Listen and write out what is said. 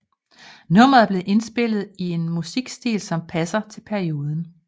Nummeret er blevet indspillet i en musikstil som passer til perioden